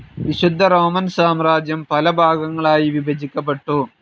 വിശുദ്ധ റോമൻ സാമ്രാജ്യം പലഭാഗങ്ങളായി വിഭജിക്കപ്പെട്ടു.